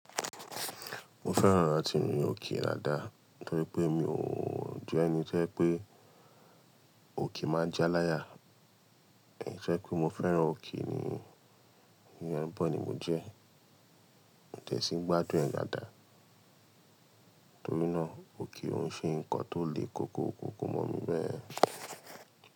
Mo fẹ́ràn láti rin òkè daadàá torí pé mi òọ̀ je ẹni to jẹ́ pé òkè máa ja láyà. Ẹ̀jẹ́ pé mo fẹ́ràn òkè ni, ni bọ̀ ni mo jẹ́. Mi ò dẹ̀sí n gbádùn ẹ̀ dádá, torí náà òke o ń ṣe nǹkan tó le koko kòkò mọ́ mi bẹ́ẹ̀.